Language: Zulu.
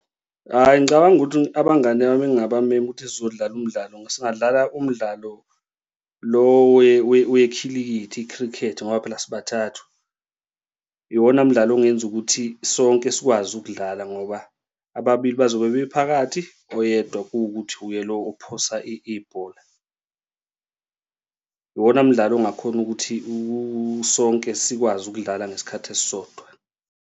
Hhayi, ngicabanga ukuthi abangani bami engabamema ukuthi sizodlala umdlalo, singadlala umdlalo lo wekhilikithi, i-cricket. Ngoba phela sibathathe, iwona mdlalo ongenza ukuthi sonke sikwazi ukudlala ngoba ababili bazobe bephakathi oyedwa kuwukuthi uye le ophosa ibhola. Iwona mdlalo ongakhona ukuthi sonke sikwazi ukudlala ngesikhathi esisodwa.